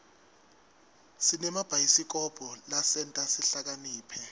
sinemabhayisikobho lasenta sihlakaniphe